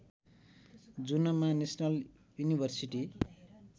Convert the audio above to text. जुनमा national university